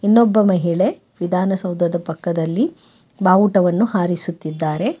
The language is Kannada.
ಇನ್ನೊಬ್ಬ ಮಹಿಳೆ ವಿಧಾನಸೌಧದ ಪಕ್ಕದಲ್ಲಿ ಬಾವುಟವನ್ನು ಹಾರಿಸುತ್ತಿದ್ದಾರೆ.